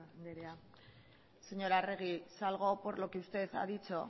andrea señora arregi salgo por lo que usted ha dicho